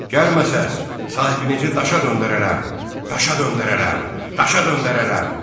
Gəlməsəz, sahibinizi daşa döndərərəm, daşa döndərərəm, daşa döndərərəm.